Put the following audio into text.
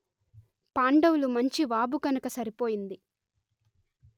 పాండవులు మంచి వాఋ కనుక సరి పోయింది